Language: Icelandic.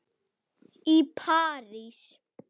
í París.